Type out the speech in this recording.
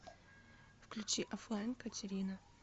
включи оффлайн катерина